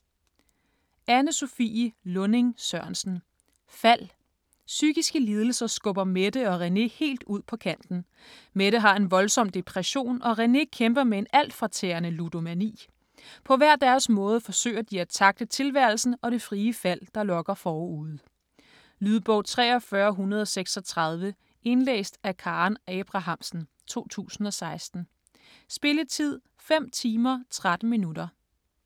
Lunding-Sørensen, Anne-Sophie: Fald Psykiske lidelser skubber Mette og René helt ud på kanten. Mette har en voldsom depression og René kæmper med en altfortærende ludomani. På hver deres måde forsøger de at tackle tilværelsen og det frie fald, der lokker forude. Lydbog 43136 Indlæst af Karen Abrahamsen, 2016. Spilletid: 5 timer, 13 minutter.